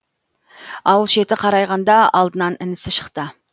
ауыл шеті қарайғанда алдынан інісі шықты